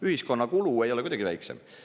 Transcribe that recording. Ühiskonna kulu ei ole kuidagi väiksem.